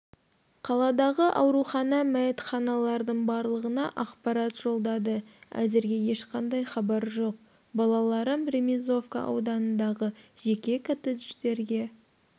қаладағы арухана мәйітханалардың барлығына ақпарат жолдады әзірге ешқандай хабар жоқ балаларым ремизовка ауданындағы жеке коттедждерге